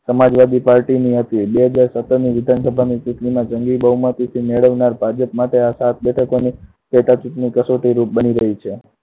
સમાજવાદી party ની હતી. બે હજાર સત્તરની વિધાનસભાની ચુંટણીમાં જંગી બહુમતી મેળવનાર ભાજપ માટે આ સાત બેઠકોની પેટા ચુંટણી કસોટી રૂપ બની ગયી છે.